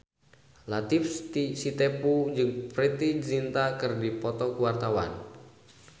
Latief Sitepu jeung Preity Zinta keur dipoto ku wartawan